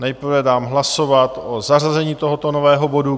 Nejprve dám hlasovat o zařazení tohoto nového bodu.